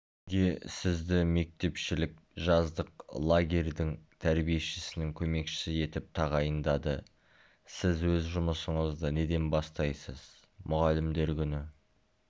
неге сізді мектепішілік жаздық лагерьдің тәрбиешісінің көмекшісі етіп тағайындады сіз өз жұмысыңызды неден бастайсыз мұғалімдер күні